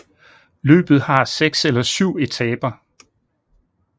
Løbet har 6 eller 7 etaper